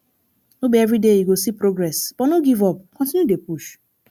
no be everyday you go see progress but no give up continue dey push